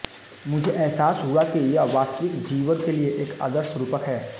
मुझे एहसास हुआ कि यह वास्तविक जीवन के लिए एक आदर्श रूपक है